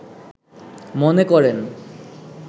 মনে করেন